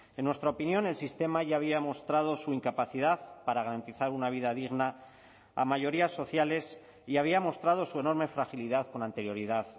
en nuestra opinión el sistema ya había mostrado su incapacidad para garantizar una vida digna a mayorías sociales y había mostrado su enorme fragilidad con anterioridad